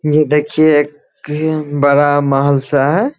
ये देखिए एक बड़ा महल सा है।